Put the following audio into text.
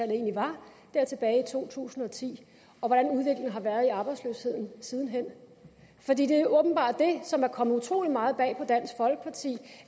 egentlig var dér tilbage i to tusind og ti og hvordan udviklingen har været i arbejdsløsheden siden hen for det er åbenbart det som er kommet utrolig meget bag på dansk folkeparti